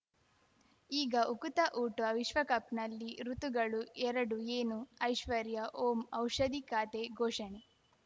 ಈಗ ಉಕುತ ಊಟ ವಿಶ್ವಕಪ್‌ನಲ್ಲಿ ಋತುಗಳು ಎರಡು ಏನು ಐಶ್ವರ್ಯಾ ಓಂ ಔಷಧಿ ಖಾತೆ ಘೋಷಣೆ